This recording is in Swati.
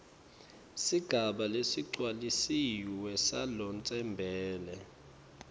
sigaba lesigcwalisiwe salotsembele